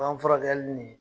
Ban furakɛli ni